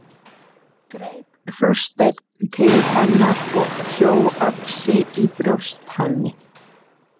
Greip Þorsteinn til hennar og hjó öxi í brjóst henni.